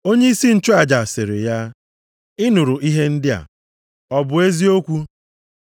Onyeisi nchụaja sịrị ya, “Ị nụrụ ihe ndị a, ọ bụ eziokwu?”